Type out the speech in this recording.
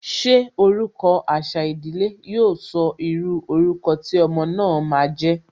Ṣé orúkọ àṣà ìdílé, yo sọ írú orúkọ tí ọmọ náà ma jẹ́?